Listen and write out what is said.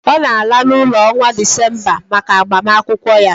Ọ na-ala n'ụlọ n'ọnwa Disemba maka agbamakwụkwọ ya